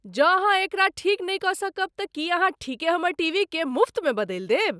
जौं अहाँ एकरा ठीक नहि कऽ सकब तऽ की अहाँ ठीके हमर टीवीकेँ मुफ्तमे बदलि देब?